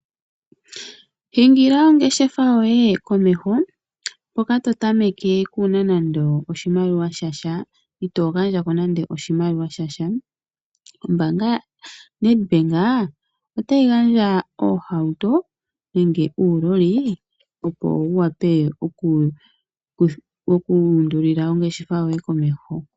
Hingila ongeshefa yoye komeho hoka totameke kuuna nando oshimaliwa shasha, itoo gandjako nande oshimaliwa shasha. Ombaanga yaNedbank otayi gandja oohauto nenge uuloli opo wuwape okuundulila oongeshefa yoye komeho.